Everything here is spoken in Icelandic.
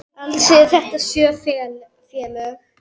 Alls eru þetta sjö félög.